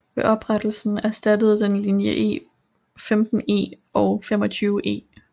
Ved oprettelsen erstattede den linje 15E og 25E